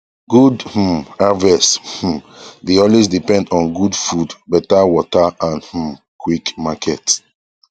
good um harvest um dey always depend on gud food better water and um quick market